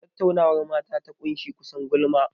Tattaunawar mata ta ƙunshi kusan gulma.